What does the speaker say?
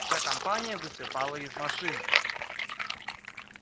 вся компания высыпала из машины